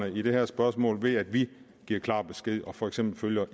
i det her spørgsmål ved at vi giver klar besked og for eksempel følger